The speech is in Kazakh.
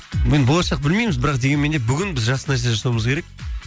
мен болашақ білмейміз бірақ дегенменде бүгін біз жақсы нәрсе жасауымыз керек